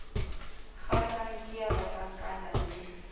kgahlang ke ya banhlankana le